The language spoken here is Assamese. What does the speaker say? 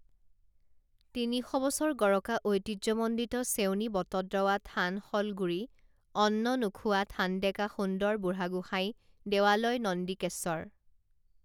তিনিশ বছৰ গৰকা ঐতিহ্যমণ্ডিত চেউনী বটদ্ৰৱা থানশলগুৰি অন্ননোখোৱা থানডেকা সুন্দৰ বুঢ়াগোসাঁই দেৱালয় নন্দিকেশ্বৰ